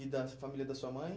E da família da sua mãe?